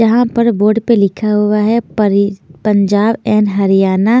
यहाँ पर बोर्ड पर लिखा हुआ हे परी-पंजाब एंड हरियाणा --